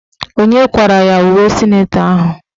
Onye kwara ya uwe sịnetọ ahụ?